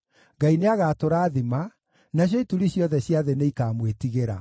Ngai nĩagatũrathima, nacio ituri ciothe cia thĩ nĩikamwĩtigĩra.